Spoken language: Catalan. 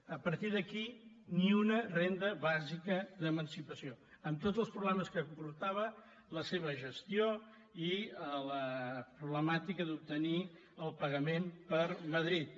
a partir d’aquí ni una renda bàsica d’emancipació amb tots els problemes que comportava la seva gestió i la problemàtica d’obtenir el pagament per madrid